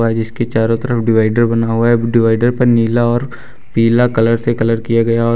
इसके चारों तरफ डिवाइडर बना हुआ है डिवाइडर पर नीला और पीला कलर से कलर किया गया और--